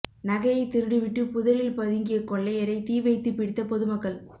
நகையை திருடிவிட்டு புதரில் பதுங்கிய கொள்ளையரை தீ வைத்து பிடித்த பொதுமக்கள்